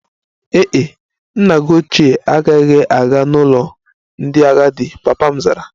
Ee e, nna gi oche agaghị aga n'ụlọ ndị agadi, papa m zara